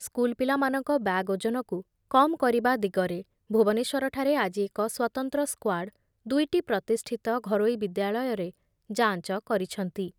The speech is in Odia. ସ୍କୁଲ୍ ପିଲାମାନଙ୍କ ବ୍ୟାଗ୍ ଓଜନକୁ କମ୍ କରିବା ଦିଗରେ ଭୁବନେଶ୍ଵରଠାରେ ଆଜି ଏକ ସ୍ୱତନ୍ତ୍ର ସ୍କାର୍ଡ ଦୁଇଟି ପ୍ରତିଷ୍ଠିତ ଘରୋଇ ବିଦ୍ୟାଳୟରେ ଯାଞ୍ଚ କରିଛନ୍ତି ।